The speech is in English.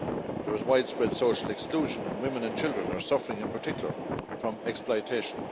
There is widespread social exclusion, and women and children are suffering in particular from exploitation.